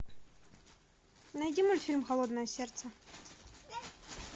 найди мультфильм холодное сердце